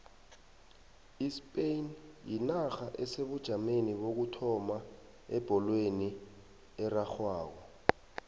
ispain yinarha esebujameni bokuthoma ebholweni erarhwako